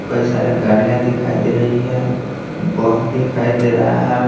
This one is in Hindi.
कई सारे गाड़ियां दिखाई दे रही है बस दिखाई दे रहा है।